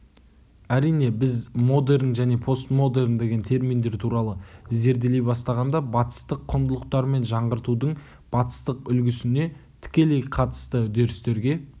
әрине біз модерн және постмодерн деген терминдер туралы зерделей бастағанда батыстық құндылықтар мен жаңғыртудың батыстық үлгісіне тікелей қатысты үдерістерге